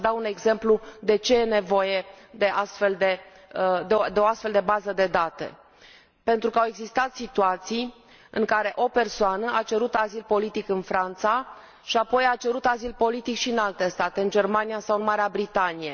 Am să dau un exemplu de ce e nevoie de o astfel de bază de date pentru că au existat situații în care o persoană a cerut azil politic în Franța și apoi a cerut azil politic și în alte state, în Germania sau în Marea Britanie.